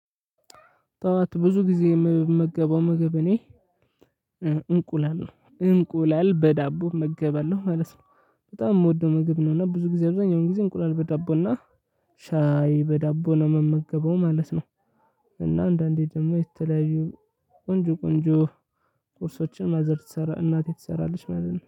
ጠዋት ብዙ ጊዜ የምመገበው ምግብ እኔ እንቁላል ነው እንቁላል በዳቦ መገባለሁ ማለት ነው። በጣም የምወደው ምግብ ነው እና ብዙ ጊዜ አብዛኛውን ጊዜ እንቁላል በዳቦ እና ሻይ በዳቦ ነው የምመገበው ማለት ነው። እና አንዳንዴ ደግሞ የተለያዩ ቆንጆ ቆንጆ ቁርሶችን ማዘር እናቴ ትሰራለች ማለት ነው